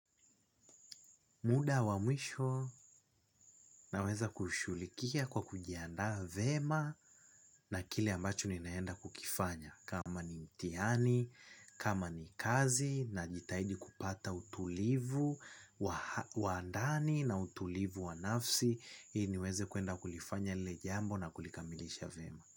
Muda wa mwisho naweza kushugulikia kwa kujiaanda vyema na kile ambacho ninaenda kukifanya kama ni mtihani, kama ni kazi na jitahidi kupata utulivu wandani na utulivu wa nafsi ili niweze kuenda kulifanya lile jambo na kulikamilisha vyema.